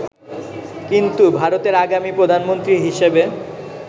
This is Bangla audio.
কিন্তু ভারতের আগামী প্রধানমন্ত্রী হিসেবে